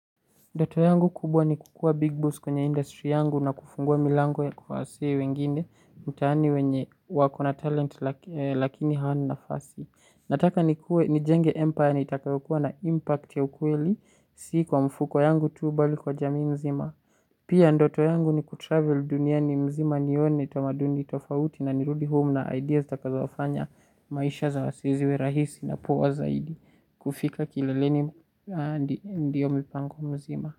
Ndoto yangu kubwa ni kukuwa big boss kwenye industry yangu na kufungua milango ya kwa wasee wengine, mtaani wenye wakona talent lakini hawana nafasi. Nataka nikuwe nijenge empire yenye itayokuwa na impact ya ukweli, si kwa mfuko yangu tu bali kwa jamii mzima. Pia ndoto yangu ni kutravel duniani mzima nione tamaduni tofauti na nirudi home na ideas zitakazofanya maisha za wasee ziwe rahisi na poa zaidi. Kufika kileleni ndio mipango mzima.